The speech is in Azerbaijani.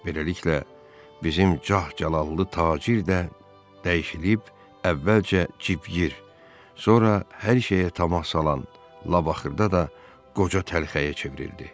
Beləliklə, bizim cah-calallı tacir də dəyişilib əvvəlcə civğir, sonra hər şeyə tamah salan labaxırda da qoca təlxəyə çevrildi.